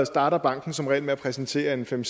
starter banken som regel med at præsentere fem